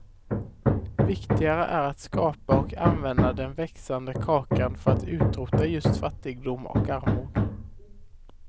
Viktigare är att skapa och använda den växande kakan för att utrota just fattigdom och armod.